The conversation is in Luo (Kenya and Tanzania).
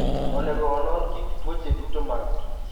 Onego onon kit tuoche duto ma kich.